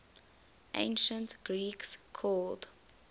ancient greek called